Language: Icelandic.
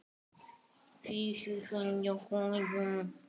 Þú verður að gera það.